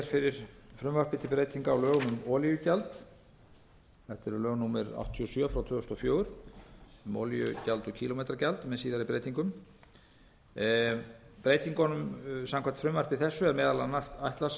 fyrir frumvarpi til breytinga á lögum um olíugjald þetta eru lög númer áttatíu og sjö tvö þúsund og fjögur um olíugjald og kílómetragjald með síðari breytingum samkvæmt frumvarpi þessu er meðal annars ætlað